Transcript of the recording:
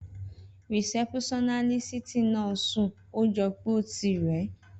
Rìsẹ́púsánísìtì náà ńsún, ójọpẹ́ o tí rè